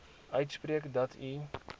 uitspreek dat u